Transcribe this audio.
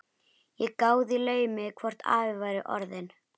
Ég gáði í laumi hvort afi væri orðinn